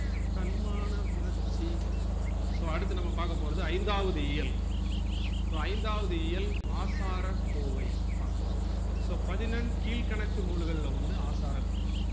தன்மான உணர்ச்சி so அடுத்து நம்ம பாக்கபோறது ஐந்தாவது இயல் so ஐந்தாவது இயல் ஆசாரகோவை பாக்கபோறோம் so பதினெண்கிழ்க்கணக்கு நூல்கள்ள ஒன்னு ஆசாரக்கோவை